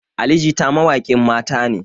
Ali jita mawaƙin mata ne